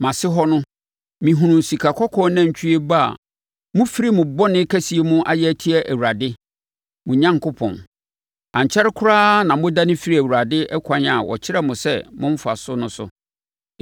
Mʼase hɔ no, mehunuu sikakɔkɔɔ nantwie ba a mofiri mo bɔne kɛseɛ mu ayɛ atia Awurade, mo Onyankopɔn. Ankyɛre koraa na modane firii Awurade ɛkwan a ɔkyerɛɛ mo sɛ momfa so no so.